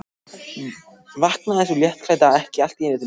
Vaknaði sú léttklædda ekki allt í einu til lífsins!